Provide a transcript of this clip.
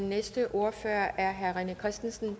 når jeg ser på